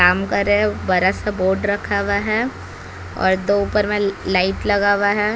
काम करे रहे है बड़ा सा बोर्ड रखा हुआ है और दो ऊपर में लाइट लगा हुआ है।